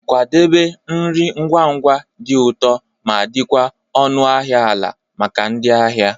Kwadebe nri ngwa ngwa, di ụtọ ma di kwa ọnụ ahịa ala maka ndị ahịa.